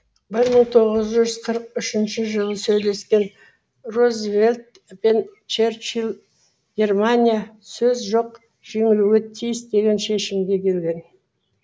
бір мың тоғыз жүз қырық үшінші жылы сөйлескен рузвельт пен черчилль германия сөз жоқ жеңілуге тиіс деген шешімге келген